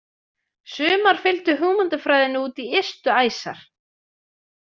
Sumar fylgdu hugmyndafræðinni út í ystu æsar.